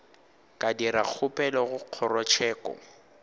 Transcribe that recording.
ka dira kgopelo go kgorotsheko